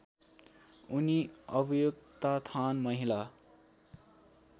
उनी अभ्युत्थान महिला